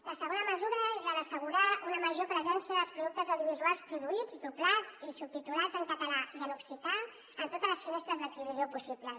la segona mesura és la d’assegurar una major presència dels productes audio·visuals produïts doblats i subtitulats en català i en occità en totes les finestres d’ex·hibició possibles